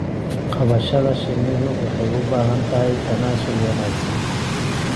Qabashada shinnidu waxay u baahan tahay tanaasul wanaagsan.